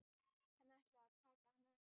Hann ætlar að taka hana upp.